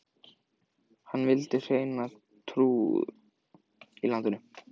Hann vildi hreina trú í landið.